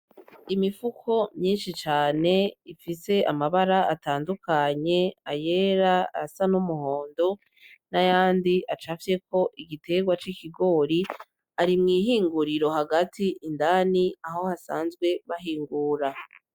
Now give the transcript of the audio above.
Imifuko myinshi cane ifise amabara atandukanye, ayera, ayasa n'umuhondo ,n'ayandi acafyeko igiterwa c'ikigori arimwihinguriro hagati indani Aho ba sanzwe bahingura.